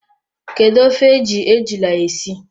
Kedu ofe e ji ejula esi?